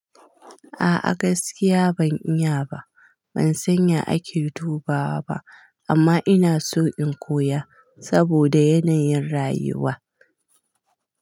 A'a gaskiya ban iya ba, ban san ya ake dubawa ba amma ina so in koya saboda yanayin rayuwa.